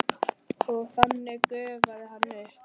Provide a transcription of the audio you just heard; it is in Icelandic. Og þannig gufi hann upp?